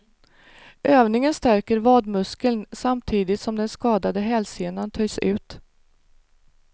Övningen stärker vadmuskeln samtidigt som den skadade hälsenan töjs ut.